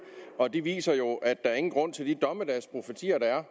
de viser jo at der ingen grund er til de dommedagsprofetier der er